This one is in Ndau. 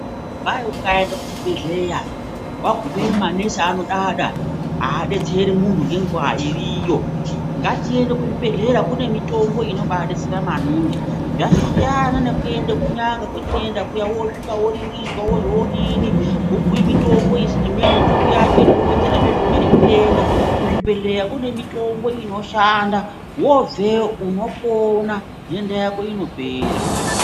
Kwai ukaenda kuzvibhehleya wagumayo kwai manesi anodada haadetseri muntu nenguwa iriyo ngatiende kuzvibhehlera kune mitombo inodetsera mangini zvasiyana nekuenda kunyanga kwatinoenda kuyani wopuhwa mutombo kuzvibhehlera kune zvotubu wobveyo unopona ndoenda inopera.